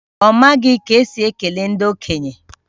Ọ maghị ka esi ekele ndị okenye